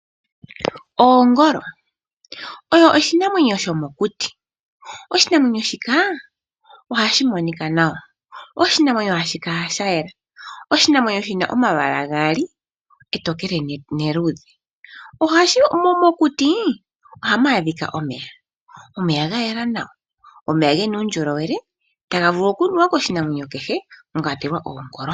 Oongolo, oyo oshinamwenyo shomokuti. Oshinamwenyo shika ohashi monika nawa, oshinamwenyo hashi kala shayela, oshinamwenyo shina omalwaala gaali, etokele neluudhe. Mokuti ohamu adhika omeya, omeya gayela nawa, omeya gena uundjolowele taga vulu okunuwa koshinamwenyo kehe, mwakwatelwa oongolo.